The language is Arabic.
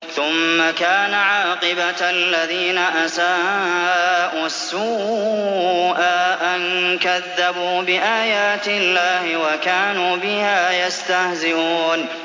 ثُمَّ كَانَ عَاقِبَةَ الَّذِينَ أَسَاءُوا السُّوأَىٰ أَن كَذَّبُوا بِآيَاتِ اللَّهِ وَكَانُوا بِهَا يَسْتَهْزِئُونَ